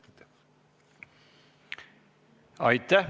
Aitäh!